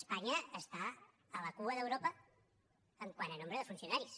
espanya està a la cua d’europa quant a nombre de funcionaris